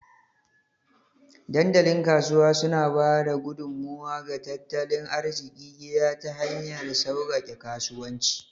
Dandalin Kasuwa suna ba da gudummawa ga tattalin arzikin gida ta hanyar sauƙaƙe kasuwanci